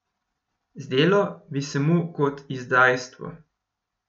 Zdelo bi se mu kot izdajstvo.